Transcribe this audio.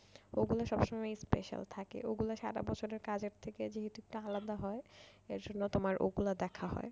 ওগুলো সবসময় special থাকে ওগুলো সারা বছরের কাজের থেকে যেহেতু একটু আলাদা হয় আসলে তোমার ওগুলো দেখা হয়।